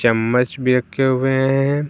चम्मच भी रखे हुए हैं।